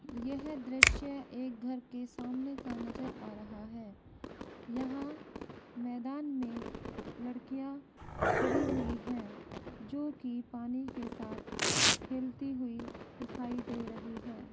यह दृश्य एक घर के सामने का नज़र आ रहा है मैदान में लड़कियां खड़ी हुई हैं जोकि पानी के साथ खेलती हुई दिखाई दे रही हैं।